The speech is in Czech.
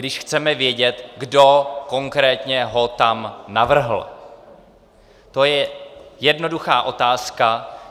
Když chceme vědět, kdo konkrétně ho tam navrhl, to je jednoduchá otázka.